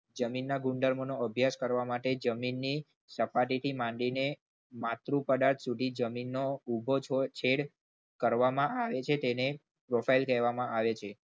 જમીનના ગુણધર્મનો અભ્યાસ કરવા માટે જમીનની સપાટીથી માંડીને માતૃ પદાર્થ સુધી જમીનનો ઉભો છેદ કરવામાં આવે છે તેને profile કહેવામાં આવે છે.